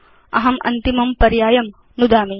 अहम् अन्तिमं पर्यायं नुदिष्यामि